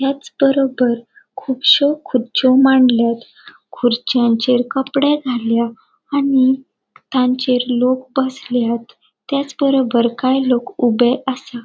त्याच बरोबर खुपश्यो खुरच्यो मांडल्यात खुर्च्यांचेर कपड़े घाल्या आणि तांचेर लोक बसल्यात त्याच बरोबर काही लोक ऊबे आसा.